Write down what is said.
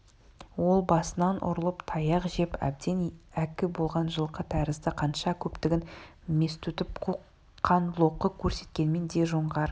ол басынан ұрылып таяқ жеп әбден әккі болған жылқы тәрізді қанша көптігін мес тұтып қоқан-лоқы көрсеткенмен де жоңғар